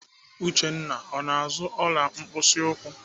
Uchenna ọ na-azụ ọla mkpịsị ụkwụ?